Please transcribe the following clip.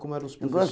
Como eram os?